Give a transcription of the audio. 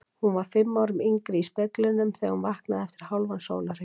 Hún var fimm árum yngri í speglinum þegar hún vaknaði eftir hálfan sólarhring.